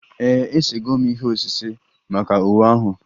Ee, esego m ihe osise maka iwe ahụ